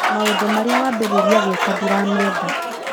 Maũndũ marĩa wambirĩria gwĩka ndiramenda